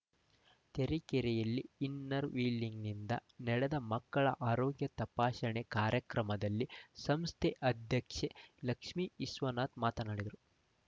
ತರೀಕೆರೆಯಲ್ಲಿ ಇನ್ನರ್‌ವೀಲಿಂಗ್ ನಿಂದ ನಡೆದ ಮಕ್ಕಳ ಆರೋಗ್ಯ ತಪಾಶಣೆ ಕಾರ್ಯಕ್ರಮದಲ್ಲಿ ಸಂಸ್ಥೆ ಅಧ್ಯಕ್ಷೆ ಲಕ್ಷ್ಮೀ ವಿಶ್ವನಾಥ್‌ ಮಾತನಾಡಿದರು